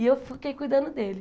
E eu fiquei cuidando dele.